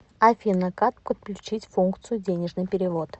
афина как подключить функцию денежный перевод